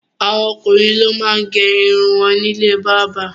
Àwọn ọkùnrin máa ń gé irun wọn ní ilé bábà.